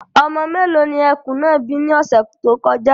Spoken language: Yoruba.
Ọmọ mélòó ni ẹkùn náà bí ní ọ̀sẹ̀ tó kọjá.